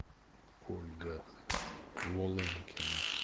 ольга волынкина